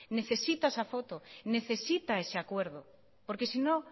necesita esa foto necesita ese acuerdo porque si no